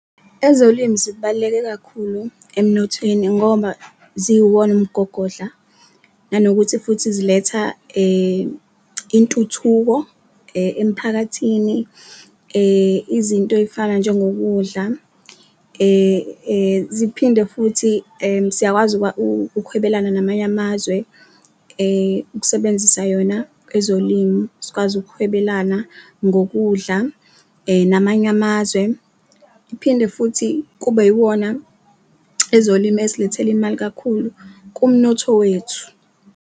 Ezolimu zibaluleke kakhulu emnothweni ngoba ziyiwona umgogodla nanokuthi futhi ziletha intuthuko emphakathini izinto ey'fana njengokudla, ziphinde futhi siyakwazi ukuhwebelana namanye amazwe ukusebenzisa yona ezolimu. Sikwazi ukukhwabelana ngokudla namanye amazwe, iphinde futhi kube iwona ezolimu ezilethela imali kakhulu kumnotho wethu.